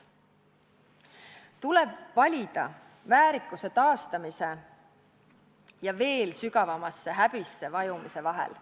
Tuleb valida väärikuse taastamise ja veel sügavamasse häbisse vajumise vahel.